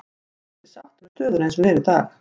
Ég er ekki sáttur með stöðuna eins og hún er í dag.